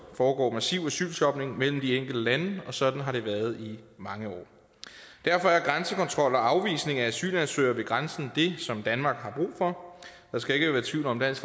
foregår massiv asylshopping mellem de enkelte lande og sådan har det været i mange år derfor er grænsekontrol og afvisning af asylansøgere ved grænsen det som danmark har brug for der skal ikke være tvivl om dansk